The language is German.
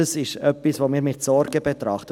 Das ist etwas, das wir mit Sorgen betrachten.